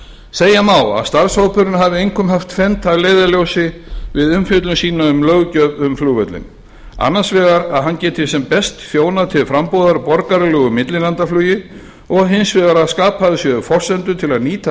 segja má að starfshópurinn hafi einkum haft tvennt að leiðarljósi við umfjöllun sína um löggjöf um flugvöllinn annars vegar að hann geti sem best þjónað til frambúðar borgaralegu millilandaflugi og hins vegar að skapaðar séu forsendur til að nýta